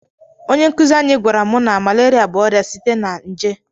Onye nkuzi anyi gwara mu na malaria bu oria site n'a nje